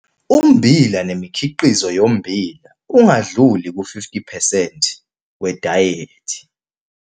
Ummbila nemikhiqizo yommbila ungadluli ku-50 percent wedayethi